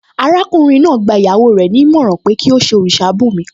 Arákùnrin náà gba ìyàwó rẹ̀ ní ìmọ̀ràn pé kí ó ṣe òrìṣà bùnmi